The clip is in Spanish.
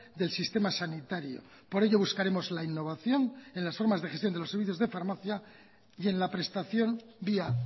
del sistema sanitario por ello buscaremos la innovación en las formas de gestión de los servicios de farmacia y en la prestación vía